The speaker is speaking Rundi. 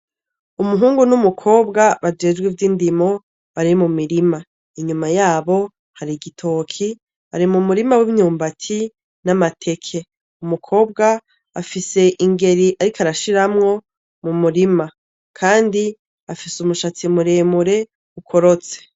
Umuhungu n'umukobwa bajejwe ivy'indimi, bari mu mirima. Inyuma yabo hari igitoki, bari mu murima w'imyumbati n'amateke. Umukobwa afise ingeri ariko arashiramwo mu murima kandi afise umushatsi muremure, ukorotse.